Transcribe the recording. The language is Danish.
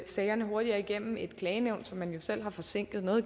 sagerne hurtigt igennem i klagenævnet som man jo selv har forsinket